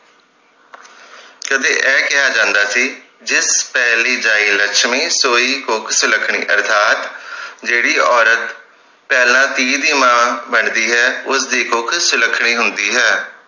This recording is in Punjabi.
ਕਦੇ ਇਹ ਕਿਹਾ ਜਾਂਦਾ ਸੀ ਜਿੱਤ ਪਹਿਲੀ ਜਾਇ ਲਛਮੀ ਸੋਇ ਕੁੱਖ ਸੁਲੱਖਣੀ ਅਰਥਾਤ ਜਿਹੜੀ ਔਰਤ ਪਹਿਲਾਂ ਧੀ ਦੀ ਮਾਂ ਬਣਦੀ ਹੈ ਉਸਦੀ ਕੁੱਖ ਸੁਲੱਖਣੀ ਹੁੰਦੀ ਹੈ